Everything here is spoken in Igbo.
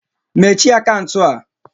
Mechie akaụntụ a!